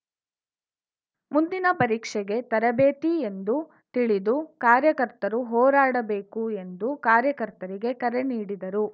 ಮುಂದಿನ ಪರೀಕ್ಷೆಗೆ ತರಬೇತಿ ಎಂದು ತಿಳಿದು ಕಾರ್ಯಕರ್ತರು ಹೋರಾಡಬೇಕು ಎಂದು ಕಾರ್ಯಕರ್ತರಿಗೆ ಕರೆ ನೀಡಿದರು